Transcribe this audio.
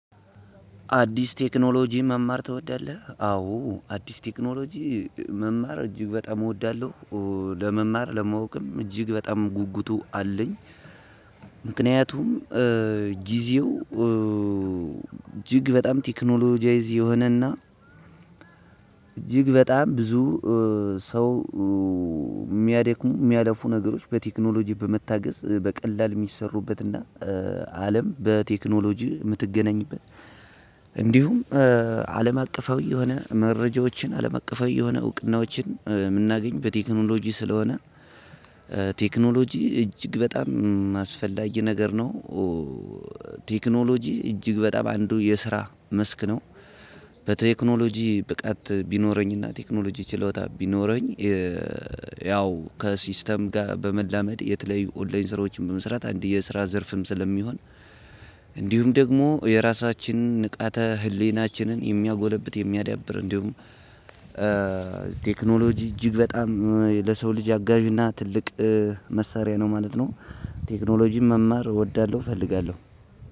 አዲስ ቴክኖሎጂ መማር ትወዳለህ? አዎ አዲስ ቴክኖሎጂ መማር እጅግ በጣም እወዳለሁ። ለመማር ለማወቅም እጅግ በጣም ጉጉቱ አለኝ። ምክንያቱም ጊዜው እጅግ በጣም ቴክኖሎጂያይዝ የሆነ እና እጅግ በጣም ብዙ ሰው ሚያደ ሚያለፉ ነገሮች በቴክኖሎጂ በመታገዝ በቀላል እሚሰሩበት እና አለም በቴክኖሎጂ ምትገናኝበት እንዲሁም አለም አቀፋዊ የሆነ መረጃዎችን አለም አቀፋዊ የሆነ እውቅናዎችን ምናገኝ በቴክኖሎጂ ስለሆነ። ቴክኖሎጂ እጅግ በጣም አስፈላጊ ነገር ነው። ቴክኖሎጂ እጅግ በጣም አንዱ የስራ መስክ ነው። በቴክኖሎጂ ብቃት ቢኖረኝ እና ቴክኖሎጂ ችሎታ ቢኖረኝ ያው ከሲስተም ጋር በመላመድ የተለያዩ ኦንላይን ስራዎችን በመስራት አንድ የስራ ዘርፍም ስለሚሆን። እንዲሁም ደግሞ የራሳችንን ንቃተ ህሊናችንን የሚያጎለብት የሚያዳብር እንዲሁም ቴክኖሎጂ እጅግ በጣም ለሰው ልጅ አጋዥ እና ትልቅ መሳሪያ ነው ማለት ነው። ቴክኖሎጂን መማር እወዳለሁ እፈልጋለሁ።